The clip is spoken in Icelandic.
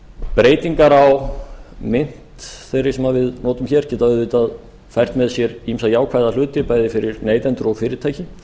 breytingar á mynt þeirri sem við notum hér geta auðvitað fært með sér ýmsa jákvæða hluti bæði fyrir neytendur og fyrirtæki